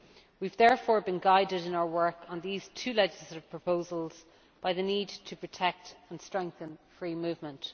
We have therefore been guided in our work on these two legislative proposals by the need to protect and strengthen free movement.